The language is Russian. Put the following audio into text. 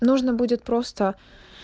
нужно будет просто